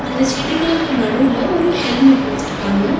அந்த செடிகளுக்கு நடுவுல ஒரு ஹெல்மெட் வெச்சிருக்காங்க.